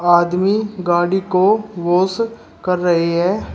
आदमी गाड़ी को वाश कर रहे हैं।